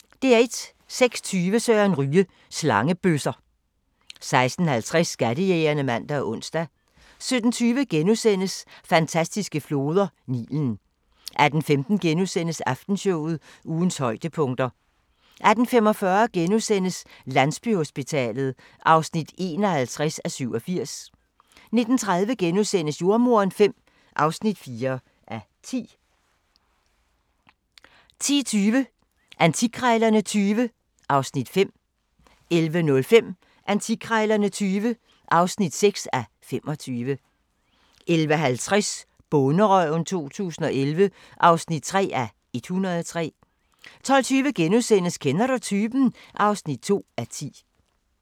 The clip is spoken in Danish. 06:20: Søren Ryge: Slangebøsser 06:50: Skattejægerne (man og ons) 07:20: Fantastiske floder: Nilen * 08:15: Aftenshowet – ugens højdepunkter * 08:45: Landsbyhospitalet (51:87)* 09:30: Jordemoderen V (4:10)* 10:20: Antikkrejlerne XX (5:25) 11:05: Antikkrejlerne XX (6:25) 11:50: Bonderøven 2011 (3:103) 12:20: Kender du typen? (2:10)